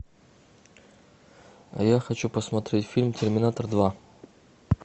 а я хочу посмотреть фильм терминатор два